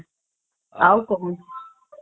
ଆଉ କଣ